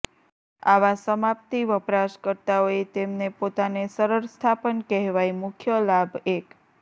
આવા સમાપ્તિ વપરાશકર્તાઓએ તેમને પોતાને સરળ સ્થાપન કહેવાય મુખ્ય લાભ એક